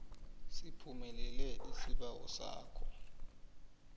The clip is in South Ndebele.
siphumelele isibawo sakho